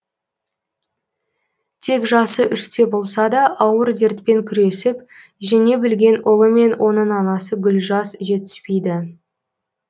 тек жасы үште болса да ауыр дертпен күресіп жеңе білген ұлы мен оның анасы гүлжаз жетіспейді